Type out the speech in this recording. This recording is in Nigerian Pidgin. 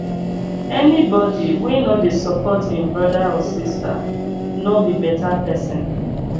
any bodi wey no dey support im broda or sista no be beta pesin